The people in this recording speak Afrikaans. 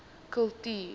kultuur